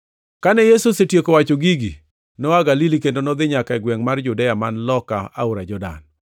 Kane Yesu osetieko wacho gigi, noa Galili kendo nodhi nyaka e gwengʼ mar Judea man loka aora Jordan.